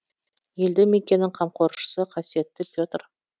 елді мекеннің қамқоршысы қасиетті петр